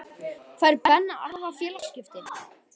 Fær Ben Arfa félagaskipti?